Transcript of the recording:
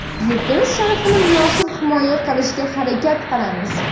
yurtimiz sharafini munosib himoya qilishga harakat qilamiz!.